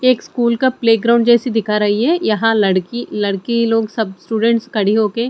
ये एक स्कूल का प्लेग्राउंड जैसी दिखा रही है यहां लड़की लड़की लोग सब स्टूडेंट खड़े हो के--